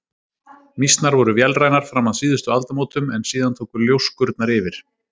Mýsnar voru vélrænar fram að síðustu aldamótum en síðan tóku ljóskurnar yfir.